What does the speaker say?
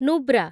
Nubra